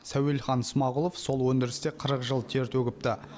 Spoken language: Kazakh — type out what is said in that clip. сәуелхан смағұлов сол өндірісте қырық жыл тер төгіпті